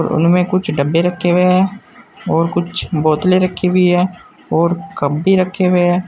और उनमें में कुछ डब्बे रखे हुए हैं और कुछ बोतले रखी हुई हैं और कप भी रखे हुए हैं।